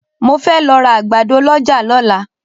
Mo fẹ́ lọ ra àgbàdo lọ́jà lọ́la.